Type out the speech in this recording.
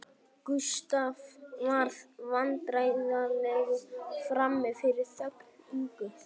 Gústaf varð vandræðalegur frammi fyrir þögn Ingu